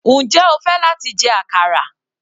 Njẹ́ o fẹ́ láti jẹ àkàrà?